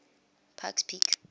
pikes peak